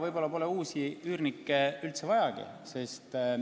Võib-olla pole uusi üürnikke üldse vajagi.